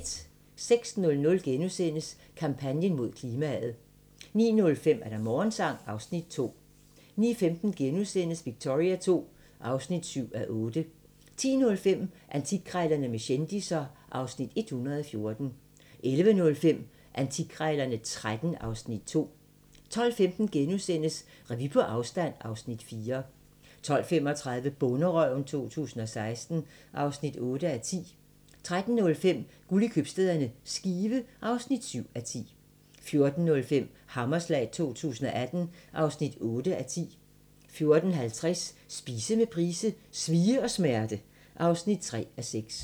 06:00: Kampagnen mod klimaet * 09:05: Morgensang (Afs. 2) 09:15: Victoria II (7:8)* 10:05: Antikkrejlerne med kendisser (Afs. 114) 11:05: Antikkrejlerne XIII (Afs. 2) 12:15: Revy på afstand (Afs. 4)* 12:35: Bonderøven 2016 (8:10) 13:05: Guld i købstæderne - Skive (7:10) 14:05: Hammerslag 2018 (8:10) 14:50: Spise med Price: "Svie og smerte" (3:6)